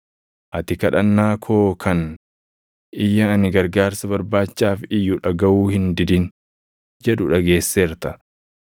Ati kadhannaa koo kan, // “Iyya ani gargaarsa barbaachaaf iyyu dhagaʼuu hin didin” jedhu dhageesseerta.